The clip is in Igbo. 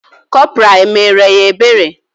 Corporal emere ya ebere?